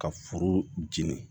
Ka foro jeni